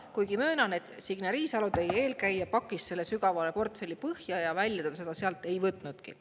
Kuigi möönan, et Signe Riisalo, teie eelkäija pakkis selle sügavale portfelli põhja ja välja ta seda sealt ei võtnudki.